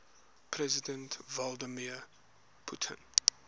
president vladimir putin